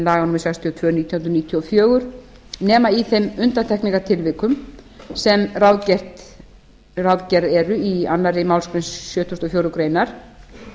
tvö nítján hundruð níutíu og fjögur nema í þeim undantekningartilvikum sem ráðgerð eru í annarri málsgrein sjötugustu og fjórðu greinar